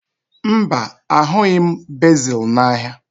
Mba, ahụghị m bezil n'ahịa